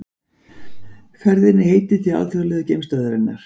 Ferðinni er heitið til Alþjóðlegu geimstöðvarinnar